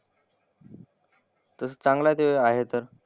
तसं चांगलं ते आहे तर.